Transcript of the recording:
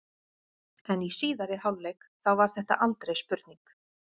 En í síðari hálfleik þá var þetta aldrei spurning.